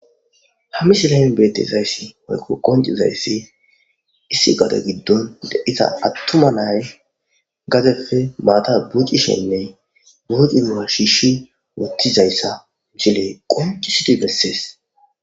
hammisilaen bettezayssi moyko qoncizayssi issi gade giddon daisa attuma nay gadepfe baata bucishenne buuci mu7a shiishi wottizayssa cile qoncu suti gessees